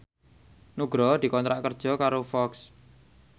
Nugroho dikontrak kerja karo Fox